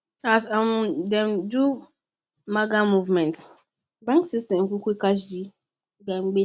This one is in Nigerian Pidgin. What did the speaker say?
as um dem do maga moves bank system quick catch the gbege